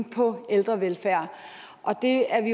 på ældrevelfærd og det er vi